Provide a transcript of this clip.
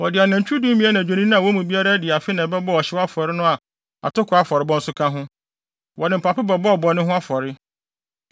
Wɔde anantwi dumien ne adwennini a wɔn mu biara adi afe na ɛbɛbɔɔ ɔhyew afɔre no a atoko afɔrebɔ nso ka ho. Wɔde mpapo bɛbɔɔ bɔne ho afɔre.